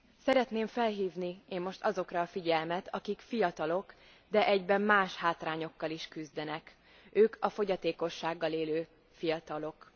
Szeretném felhívni azokra a figyelmet, akik fiatalok, de egyben más hátrányokkal is küzdenek ők a fogyatékossággal élő fiatalok.